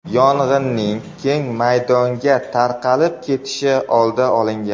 Yong‘inning keng maydonga tarqalib ketishi oldi olingan.